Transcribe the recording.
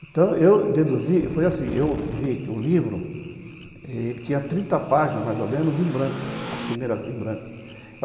Então, eu deduzi, eu falei assim, eu vi que o livro tinha trinta páginas, mais ou menos, em branco, as primeiras em branco.